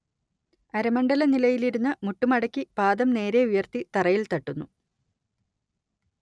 അരമണ്ഡല നിലയിലിരുന്ന് മുട്ട് മടക്കി പാദം നേരെ ഉയർത്തി തറയിൽ തട്ടുന്നു